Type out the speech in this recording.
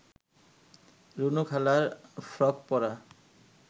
রুনু খালার ফ্রক পরা